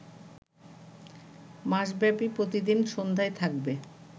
মাসব্যাপী প্রতিদিন সন্ধ্যায় থাকবে